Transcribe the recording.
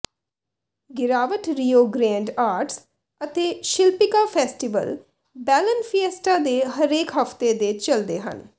ਗਿਰਾਵਟ Rio Grande arts ਅਤੇ ਸ਼ਿਲਪਿਕਾ ਫੈਸਟੀਵਲ ਬੈਲਨ ਫਿਏਸਟਾ ਦੇ ਹਰੇਕ ਹਫਤੇ ਦੇ ਚਲਦੇ ਹਨ